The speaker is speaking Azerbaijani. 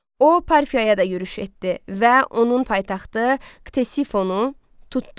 O, Parfiyaya da yürüş etdi və onun paytaxtı Ktesifonu tutdu.